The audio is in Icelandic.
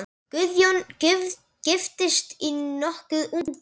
Guðjón giftist nokkuð ungur.